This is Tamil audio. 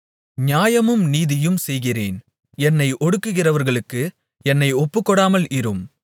நியாயமும் நீதியும் செய்கிறேன் என்னை ஒடுக்குகிறவர்களுக்கு என்னை ஒப்புக்கொடாமல் இரும்